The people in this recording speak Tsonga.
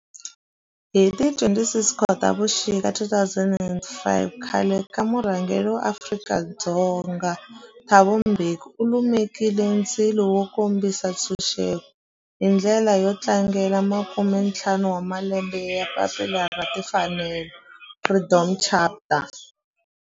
Hi ti 26 Khotavuxika 2005 khale ka murhangeri wa Afrika-Dzonga Thabo Mbeki u lumekile ndzilo wo kombisa ntshuxeko, hi ndlela yo tlangela makume-ntlhanu wa malembe ya papila ra timfanelo, Freedom Charter.